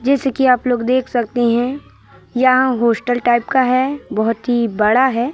जैसे कि आप लोग देख सकते हैं यहाँ होस्टल टाइप का है बहोत हि बड़ा है।